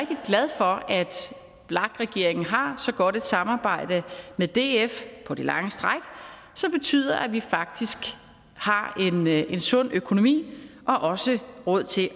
vlak regeringen har så godt et samarbejde med df på lange stræk som betyder at vi faktisk har en sund økonomi og også har råd til